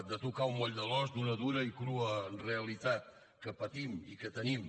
de tocar el moll de l’os d’una dura i crua realitat que patim i que tenim